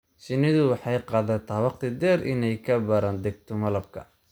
Shinnidu waxay qaadataa waqti dheer inay ka baaraandegto malabka.